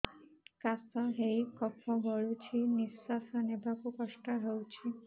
କାଶ ହେଇ କଫ ଗଳୁଛି ନିଶ୍ୱାସ ନେବାକୁ କଷ୍ଟ ହଉଛି